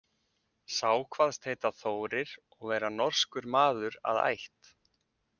Sá kvaðst heita Þórir og vera norskur maður að ætt.